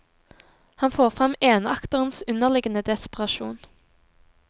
Han får frem enakterens underliggende desperasjon.